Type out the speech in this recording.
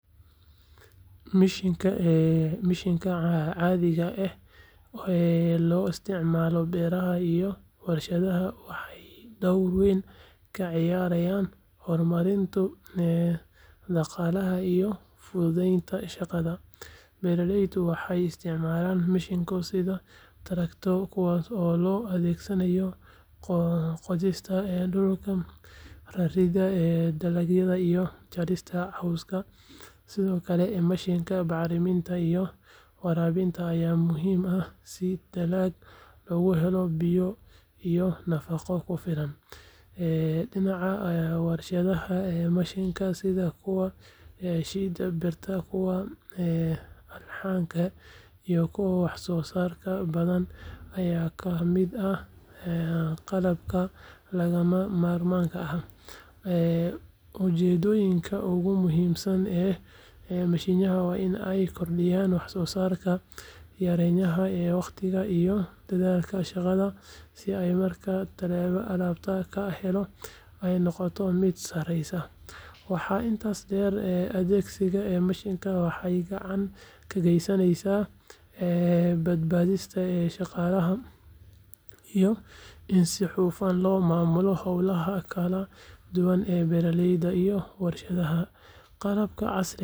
Mishiinnada caadiga ah ee loo isticmaalo beeraha iyo warshadaha waxay door weyn ka ciyaaraan horumarinta dhaqaalaha iyo fududeynta shaqada. Beeraleydu waxay isticmaalaan mashiinno sida traktorro, kuwaas oo loo adeegsado qodista dhulka, raridda dalagga, iyo jarista cawska. Sidoo kale, mashiinnada bacriminta iyo waraabinta ayaa muhiim ah si dalagga loogu helo biyo iyo nafaqo ku filan. Dhinaca warshadaha, mashiinnada sida kuwa shiida birta, kuwa alxanka, iyo kuwa wax soo saarka baakadaha ayaa ka mid ah qalabka lagama maarmaanka ah. Ujeeddooyinka ugu muhiimsan ee mashiinnadani waa in ay kordhiyaan waxsoosaarka, yareeyaan waqtiga iyo dadaalka shaqaalaha, isla markaana tayada alaabta la helo ay noqoto mid sareysa. Waxaa intaas dheer, adeegsiga mashiinnada waxay gacan ka geystaan badbaadada shaqaalaha iyo in si hufan loo maamulo howlaha kala duwan ee beeraleyda iyo warshadaha. Qalabkan casriga ah wuxuu muhim u yahay kobaca dhaqaalaha iyo horumarka bulshada.